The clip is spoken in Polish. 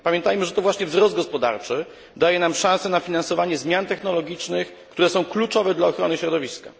Pamiętajmy, że to właśnie wzrost gospodarczy daje nam szansę na finansowanie zmian technologicznych, które są kluczowe dla ochrony środowiska.